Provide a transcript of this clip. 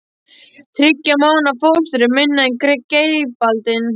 Þriggja mánaða fóstur er minna en greipaldin.